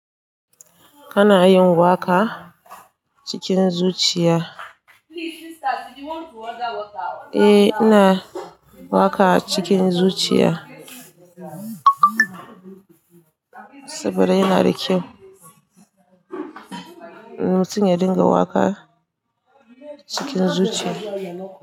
Kana yin waƙa cikin zuciya? Eh ina waƙa cikin zuciya saboda yana da kyau. Mudinga dinga waƙa cikin zuciya.